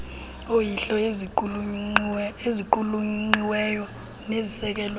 oyilo eziqulunqiweyo nezisekelwe